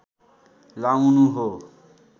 लाउनु हो